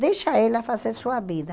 Deixa ela fazer sua vida.